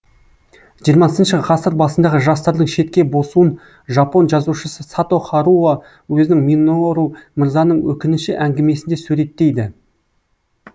жиырмасыншы ғасыр басындағы жастардың шетке босуын жапон жазушысы сато харуо өзінің минору мырзаның өкініші әңгімесінде суреттейді